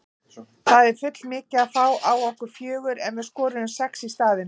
Það er full mikið að fá á okkur fjögur en við skoruðum sex í staðinn.